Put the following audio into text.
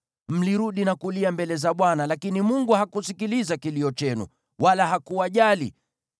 Mlirudi na kulia mbele za Bwana , lakini Mungu hakusikiliza kilio chenu, wala hakuwajali.